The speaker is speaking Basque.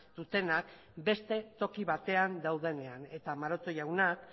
dutenak beste toki batean daudenean eta maroto jaunak